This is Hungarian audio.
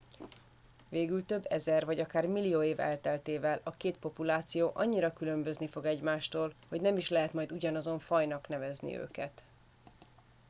végül több ezer vagy akár millió év elteltével a két populáció annyira különbözni fog egymástól hogy nem is lehet majd ugyanazon fajnak nevezni őket